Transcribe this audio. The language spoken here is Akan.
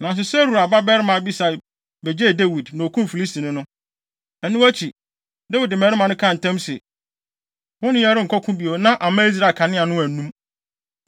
Nanso Seruia babarima Abisai begyee Dawid, na okum Filistini no. Ɛno akyi, Dawid mmarima no kaa ntam se, “Wo ne yɛn renkɔ ɔko bio na amma Israel kanea annum no.”